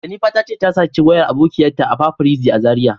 Jennifer ta ce ta saci wayar abokiyan ta a paparazzi a Zaria.